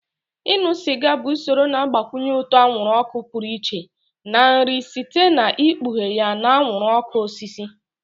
Ịṅụ sịga bụ usoro na-agbakwụnye ụtọ anwụrụ ọkụ pụrụ iche na nri site n'ikpughe ya na anwụrụ ọkụ osisi.